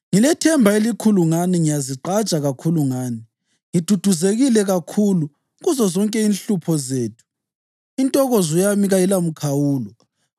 Ngilethemba elikhulu ngani; ngiyazigqaja kakhulu ngani. Ngiduduzekile kakhulu; kuzozonke inhlupho zethu intokozo yami kayilamikhawulo.